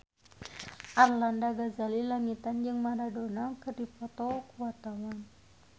Arlanda Ghazali Langitan jeung Maradona keur dipoto ku wartawan